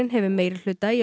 hefur meirihluta í